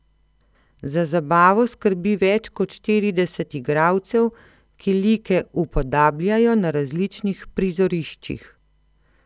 Za zabavo skrbi več kot štirideset igralcev, ki like upodabljajo na različnih prizoriščih.